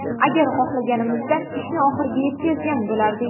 Agar xohlaganimizda ishni oxiriga yetkazgan bo‘lardik”.